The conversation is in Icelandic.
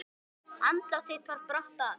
Andlát þitt bar brátt að.